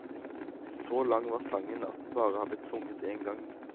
Så lang var sangen at den bare har blitt sunget en gang.